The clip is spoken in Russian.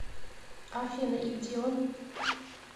афина и где он